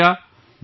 ش ح ع ا ع ر